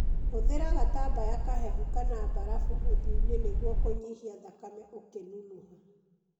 Hũthĩra gatambaya kahehu kana mbarafu ũthiũinĩ nĩguo kũnyihia thakame ũkĩnunuha.